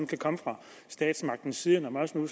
kan komme fra statsmagtens side når man nu